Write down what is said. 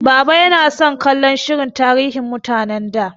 Baba yana son kallon shirin tarihin mutanen da.